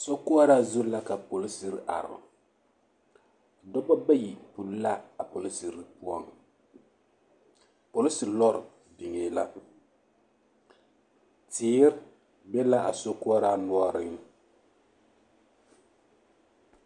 Sokoɔraa zu la ka polisiri are dɔbɔ ba a puli la a polisiri poɔŋ polisi lɔɔre biŋee la teere be la a sokoɔre noɔreŋ.